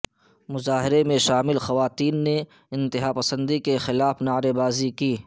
مظاہرہ میں شامل خواتین نے انتہا پسندی کے خلاف نعرے بازی کی